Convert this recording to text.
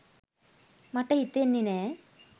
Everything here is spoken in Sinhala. මට හිතෙන්නෙ නෑ